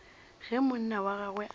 ge monna wa gagwe a